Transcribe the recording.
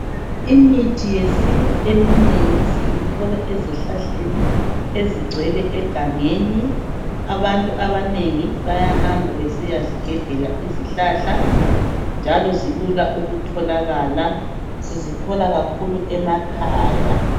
Imithi yesintu eminengi siyithola ezihlahleni ezigcwele egangeni abantu abanengi bayahamba besiya zigebhela izihlahla njalo zilula ukutholakala sizithola kakhulu emakhaya.